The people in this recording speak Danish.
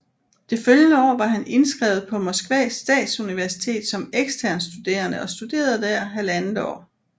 Det følgende år var han indskrevet på Moskvas statsuniversitet som ekstern studerende og studerede der halvandet år